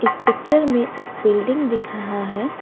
इस पिक्चर मे एक बिल्डिंग दिख रहा है।